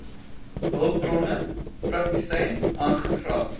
hulpbronne praktisyn aangevra